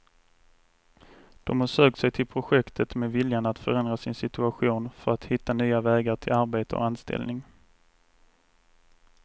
De har sökt sig till projektet med viljan att förändra sin situation för att hitta nya vägar till arbete och anställning.